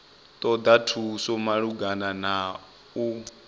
ṱoḓa thuso malugana na u